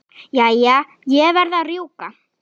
Jæja, ég verð að rjúka.